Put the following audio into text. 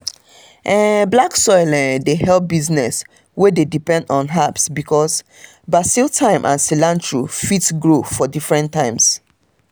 um black soil um dey help business wey dey depend on herbs because basil thyme and cilantro fit grow um for different times